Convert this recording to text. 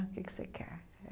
Ah O que que você quer?